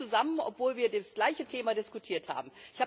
Wir waren nicht zusammen, obwohl wir das gleiche Thema diskutiert haben.